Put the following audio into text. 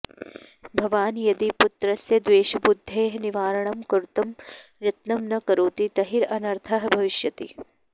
भवान् यदि पुत्रस्य द्वेषबुद्धेः निवारणं कर्तुं यत्नं न करोति तर्हि अनर्थः भविष्यति